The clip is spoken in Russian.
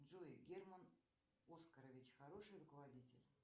джой герман оскарович хороший руководитель